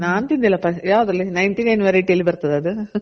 ನಾನ್ ತಿನ್ದಿಲ್ಲಪ ಯಾವ್ದ್ರಲ್ಲಿ ninety nine variety ಅಲ್ಲಿ ಬರ್ತದ ಅದು